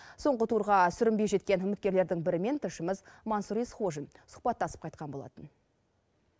соңғы турға сүрінбей жеткен үміткерлердің бірімен тілшіміз мансұр есқожин сұхбаттасып қайтқан болатын